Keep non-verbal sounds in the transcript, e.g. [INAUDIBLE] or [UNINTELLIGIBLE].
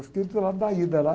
Eu fiquei do lado da [UNINTELLIGIBLE] lá.